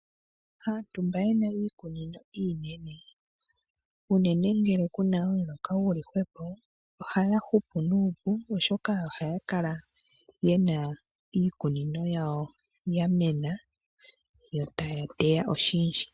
Aantu mba yena iikunino iinene uunene ngele kuna omuloka guli hwepo ohaya hupu nuupu, oshoka ohaya kala yena iikunino yawo ya mena yo taya oshindji.